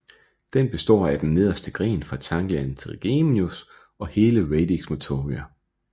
Den består af den nederste gren fra ganglion trigeminus og hele radix motoria